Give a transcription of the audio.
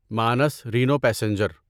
مانس رینو پیسنجر